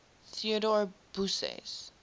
theodor busse's